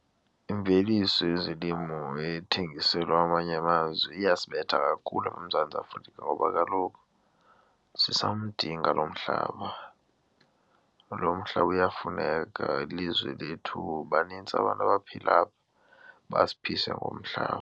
Imveliso yezolimo ethengiselwa amanye amazwe iyasibetha kakhulu apha eMzantsi Afrika ngoba kaloku sisamdinga lo mhlaba. Lo mhlaba uyafuneka, ilizwe lethu banintsi abantu abaphila apha ubasiphise ngomhlaba.